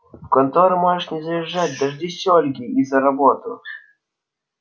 в контору можешь не заезжать дождись ольги и за работу